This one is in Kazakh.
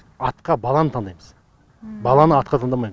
атқа баланы таңдаймыз баланы атқа таңдамайм